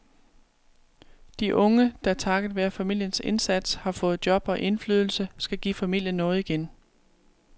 De unge, der takket være familiens indsats har fået job og indflydelse, skal give familien noget igen.